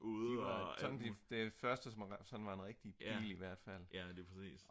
den første som var en rigtig bil i hvert fald